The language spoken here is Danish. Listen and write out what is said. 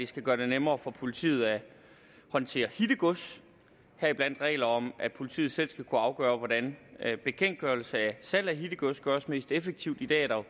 skal være nemmere for politiet at håndtere hittegods heriblandt regler om at politiet selv skal kunne afgøre hvordan bekendtgørelse af salg af hittegods gøres mest effektivt i dag er der